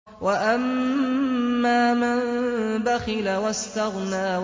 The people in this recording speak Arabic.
وَأَمَّا مَن بَخِلَ وَاسْتَغْنَىٰ